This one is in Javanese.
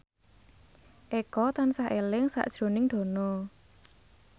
Eko tansah eling sakjroning Dono